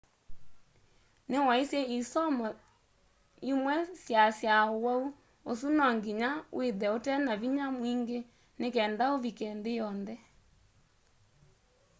ni waisye isomo imwe syaasya uwau usu no nginya withe utena vinya mwingi ni kenda uvike nthi yonthe